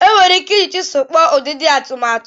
E nwere ike iji chisel kpụọ ụdịdị atụmatụ.